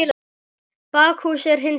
Bakhús er hins vegar rifið.